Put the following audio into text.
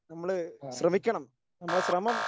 നമ്മള് ശ്രമിക്കണം നമ്മുടെ ശ്രമം